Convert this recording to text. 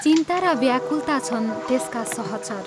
चिन्ता र व्याकुलता छन् त्यसका सहचर।